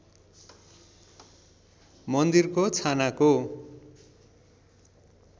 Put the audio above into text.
मन्दिरको छानाको